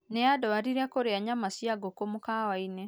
Nĩanduarire kũrĩa nyama cia ngũkũ mũkawa-inĩ